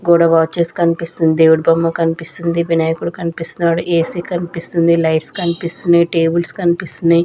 గోడ వాచెస్ కనిపిస్తుంది దేవుడి బొమ్మ కనిపిస్తుంది వినాయకుడు కనిపిస్తున్నాడు ఏ_సి కనిపిస్తుంది లైట్స్ కనిపిస్తున్నాయి టేబుల్స్ కనిపిస్తున్నాయి.